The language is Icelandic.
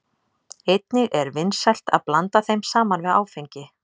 Einnig er vinsælt að blanda þeim saman við áfengi.